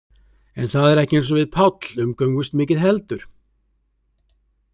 En það er ekki eins og við Páll umgöngumst mikið heldur.